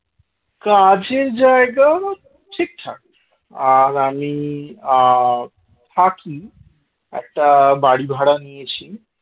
কাজের জায়গা ঠিকঠাক আর আমি আ থাকি একটা বাড়ি ভাড়া নিয়েছি